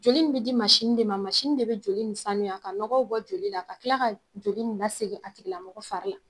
Joli nin bɛ di mansin de ma, mansin de bɛ joli ni sanuya ka nɔgɔw bɔ joli la ka tila ka joli ni lasegin a tigilamɔgɔ fari la.